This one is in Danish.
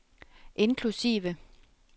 inklusive